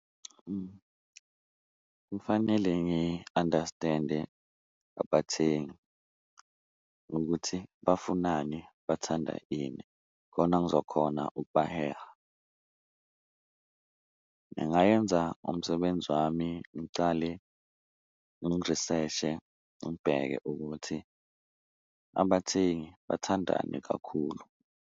Kufanele ngi-understand-e abathengi ukuthi bafunani, bathanda ini khona ngizokhona ukubaheha, ngingayenza umsebenzi wami ngicale ngiriseshe ngibheke ukuthi abathengi bathandani kakhulu.